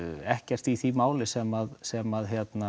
ekkert í því máli sem sem